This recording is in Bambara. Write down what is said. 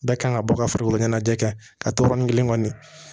Bɛɛ kan ka bɔ ka farikolo ɲɛnajɛ kɛ a tɔrɔ ni kelen kɔni